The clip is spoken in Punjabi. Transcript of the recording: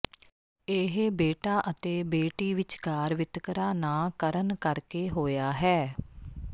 ਇਹ ਬੇਟਾ ਅਤੇ ਬੇਟੀ ਵਿਚਕਾਰ ਵਿਤਕਰਾ ਨਾ ਕਰਨ ਕਰ ਕੇ ਹੋਇਆ ਹੈ